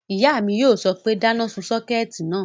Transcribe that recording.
Ìyá mi yóò sọ pé, dáná sun sọ́kẹ̀tì náà!"